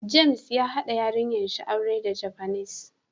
James ya Haba yarinyan shi auren dan Japanese.